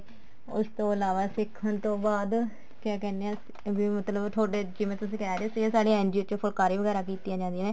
ਉਸ ਤੋਂ ਇਲਾਵਾ ਸਿੱਖਣ ਤੋਂ ਬਾਅਦ ਕਿਆ ਕਹਿਨੇ ਆ ਵੀ ਮਤਲਬ ਤੁਹਾਡੇ ਜਿਵੇਂ ਤੁਸੀਂ ਕਹਿ ਰਹੇ ਸੀਗੇ ਸਾਡੀ NGO ਚ ਫੁਲਕਾਰੀ ਵਗੇਰਾ ਕੀਤੀਆਂ ਜਾਂਦੀਆਂ ਨੇ